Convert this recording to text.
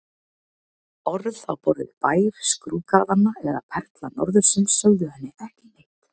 Orð á borð við Bær skrúðgarðanna eða Perla norðursins sögðu henni ekki neitt.